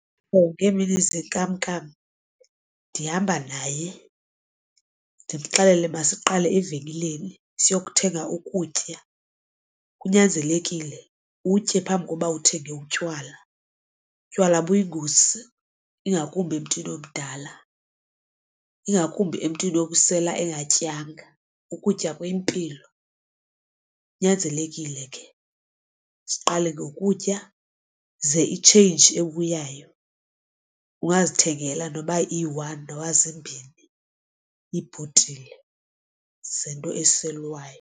Ngeemini zenkamnkam ndihamba naye ndimxelele masiqale evenkileni siyokuthenga ukutya, kunyanzelekile utye phambi kokuba uthenge utywala. Utywala buyingozi ingakumbi emntwini omdala ingakumbi emntwini obusela engatyanga. Ukutya kuyimpilo kunyanzelekile ke siqale ngokutya ze itsheyinji ebuyayo ungazithengela noba iyi-one noba zimbini iibhotile zento eselwayo.